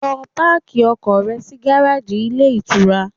Lọ páàkì ọkọ̀ rẹ sí gáráàjì ilé ìtura!